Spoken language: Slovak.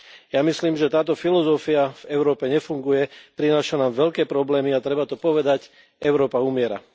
Ja myslím, že táto filozofia v Európe nefunguje, prináša nám veľké problémy, a treba to povedať Európa umiera.